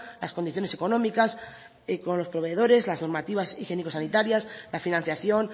las condiciones económicas con los proveedores las normativas higiénico sanitarias la financiación